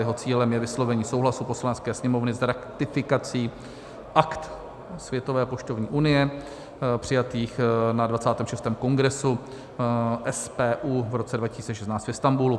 Jeho cílem je vyslovení souhlasu Poslanecké sněmovny s ratifikací Akt Světové poštovní unie přijatých na 26. Kongresu SPU v roce 2016 v Istanbulu.